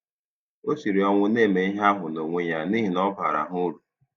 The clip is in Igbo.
Ọ siri ọnwụ na-eme ihe ahụ n'onwe ya n'ihi na ọ baara ha uru.